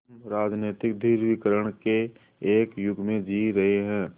हम राजनीतिक ध्रुवीकरण के एक युग में जी रहे हैं